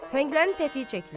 Tüfənglərin tətiyi çəkilir.